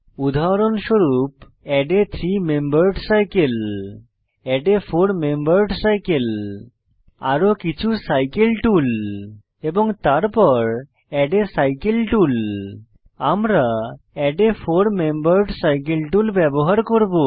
উদাহরণস্বরূপ add a three membered cycle add a four membered cycle আরো কিছু cycle tool এবং তারপর এড a সাইকেল টুল আমরা add a four membered cycle tool ব্যবহার করব